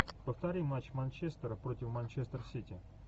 повтори матч манчестера против манчестер сити